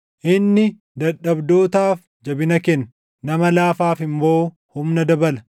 Inni dadhabdootaaf jabina kenna; nama laafaaf immoo humna dabala.